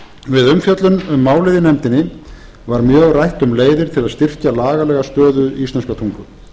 umfjöllun um málið í nefndinni var mjög rætt um leiðir til að styrkja lagalega stöðu íslenskrar tungu